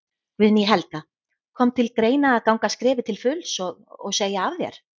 Guðný Helga: Kom til greina að ganga skrefið til fulls og, og segja af þér?